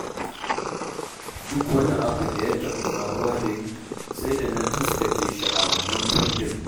Duk wani abu da ya taɓa faruwa da ni, sai da na taskace shi a wannan kundin